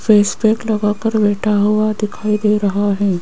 Face pack लगा कर बैठा हुआ दिखाई दे रहा है।